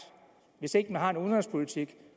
hvis ikke man har en udenrigspolitik